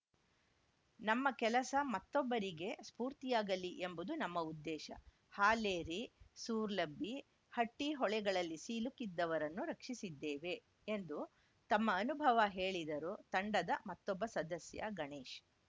ನಮ್ಮ ಕೆಲಸ ಮತ್ತೊಬ್ಬರಿಗೆ ಸ್ಫೂರ್ತಿಯಾಗಲಿ ಎಂಬುದು ನಮ್ಮ ಉದ್ದೇಶ ಹಾಲೇರಿ ಸೂರ್ಲಬ್ಬಿ ಹಟ್ಟಿಹೊಳೆಗಳಲ್ಲಿ ಸಿಲುಕಿದ್ದವರನ್ನು ರಕ್ಷಿಸಿದ್ದೇವೆ ಎಂದು ತಮ್ಮ ಅನುಭವ ಹೇಳಿದರು ತಂಡದ ಮತ್ತೊಬ್ಬ ಸದಸ್ಯ ಗಣೇಶ್‌